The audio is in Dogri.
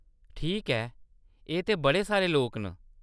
ठीक ऐ, एह् ते बड़े सारे लोक न।